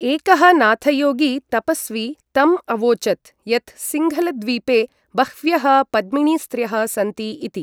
एकः नाथयोगी तपस्वी तम् अवोचत् यत् सिंघलद्वीपे बह्व्यः पद्मिणीस्त्र्यः सन्ति इति।